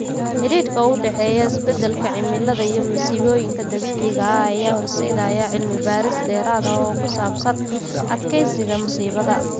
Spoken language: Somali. Xidhiidhka u dhexeeya isbeddelka cimilada iyo masiibooyinka dabiiciga ah ayaa horseedaya cilmi-baaris dheeraad ah oo ku saabsan adkeysiga musiibada.